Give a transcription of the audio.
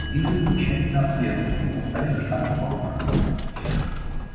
визу его тщательно обследовали и поставили штамп в паспорт